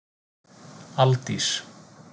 Aldís